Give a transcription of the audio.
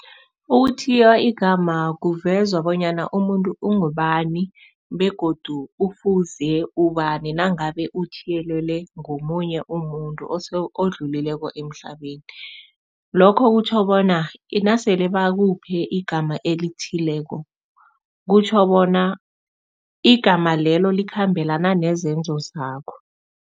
Ukuthiywa igama kuveza bonyana umuntu ungubani begodu ufuze ubani nangabe uthiyelelwe ngomunye umuntu odlulileko emhlabeni. Lokho kutjho bona nasele bakuphe igama elithileko, kutjho bona igama lelo likhambelana nezenzo zakho.